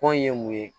Kɔn ye mun ye